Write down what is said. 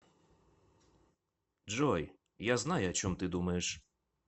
джой я знаю о чем ты думаешь